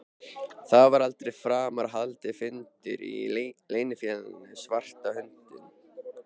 Það var aldrei framar haldinn fundur í Leynifélaginu svarta höndin.